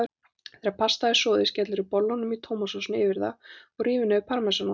Þegar pastað er soðið skellirðu bollunum í tómatsósunni yfir það og rífur niður parmesanost.